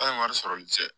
A' ye wari sɔrɔli cɛ